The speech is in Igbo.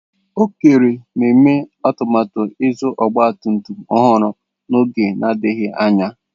Okere na-eme atụmatụ ịzụta ọgba tum tum ọhụrụ n'oge adịghị anya.